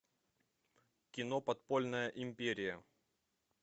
кино подпольная империя